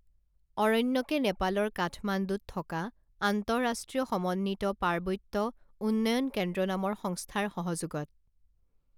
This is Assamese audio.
অৰণ্যকে নেপালৰ কাঠমাণ্ডুত থকা আন্তৰাষ্ট্ৰীয় সমন্বিত পাৰ্বত্য উন্নয়ন কেন্দ্ৰ নামৰ সংস্থাৰ সহযোগত